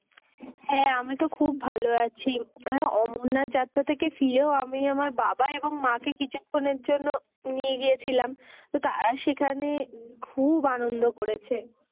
হ্যা আমি তো খুব ভালো আছি। অমরনাথ যাত্রা থেকে ফিরেও আমি আমার বাবা এবং মাকে কিছুক্ষণের জন্য নিয়ে গিয়েছিলাম। তো তারা সেখানে খুব আনন্দ করেছে।